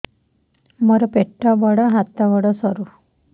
ମୋର ପେଟ ବଡ ହାତ ଗୋଡ ସରୁ